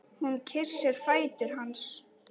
Hún kyssir fætur hans.